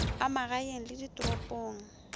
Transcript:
a magaeng le a ditoropong